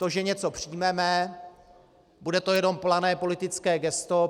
To, že něco přijmeme, bude to jenom plané politické gesto.